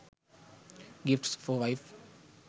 gifts for wife